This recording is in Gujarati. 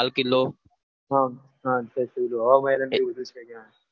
હા હા હવા મહેલ ને બધું ત્યાં છે ત્યાં